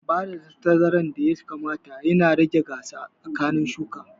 Bada tazarar da ya kamata yana taimakawa wajen rage gasa tsakanin shuka